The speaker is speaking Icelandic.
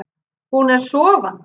Hún er sofandi.